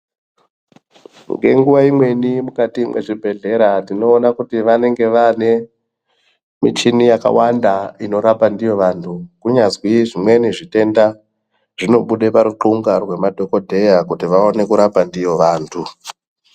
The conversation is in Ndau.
Ngenguwa imweni Mukati mezvibhedhlera tinoona kuti vanenge vane muchini yakawanda inorapa ndiyo vantu kunyazi zvimweni zvitenda zvinobuda paruxunga remadhokodheya kuti vaone kurapa ndiyona vantu.